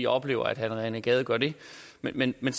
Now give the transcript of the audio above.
oplever at herre rené gade gør det men men